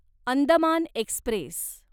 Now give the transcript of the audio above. Andaman Express